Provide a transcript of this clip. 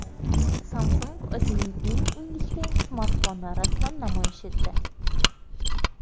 Samsung o‘zining eng ingichka smartfonini rasman namoyish etdi.